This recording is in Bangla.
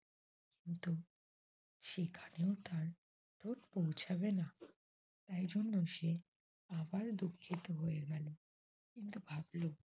সেইখানেও তার ঠোট পৌছাবে না। তাই জন্য সে আবার দুঃখিত হয়ে গেল। কিন্তু ভাবল